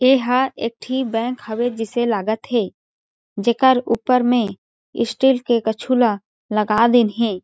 एह एक ठी बैंक हवे जिसे लागत हे जेकर ऊपर में स्टील के कछुला लगा दिन हे।